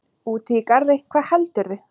Úti í garði, hvað heldurðu!